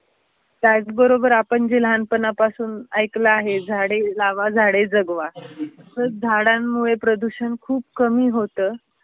त्याच बरोबर आपण जे लहानपणापासून ऐकलं आहे, झाडे लावा झाडे जगवा. तर झाडांमुळे प्रदूषण खूप कमी होत.